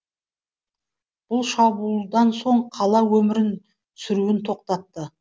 бұл шабуылдан соң қала сүруін тоқтатты